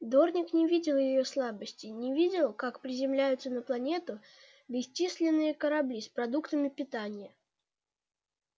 дорник не видел её слабостей не видел как приземляются на планету бесчисленные корабли с продуктами питания